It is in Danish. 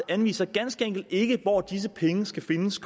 anviser ganske enkelt ikke konkret hvor disse penge skal findes